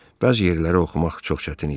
Bəzi yerləri oxumaq çox çətin idi.